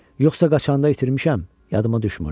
Yoxsa qaçanda itirmişəm, yadıma düşmürdü.